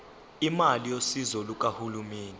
imali yosizo lukahulumeni